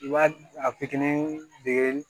I b'a a fitinin dege